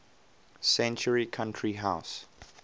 century country house